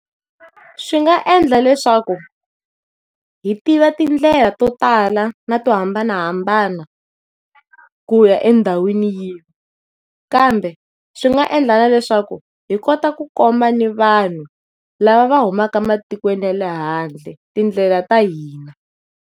Swi nga endla leswaku munhu hi tiva tindlela to tala na to hambanahambana ku ya endhawini yihi, kambe swi nga endla na leswaku hi kota ku komba ni vanhu lava va humaka matikweni ya lehandle tindlela ta hina.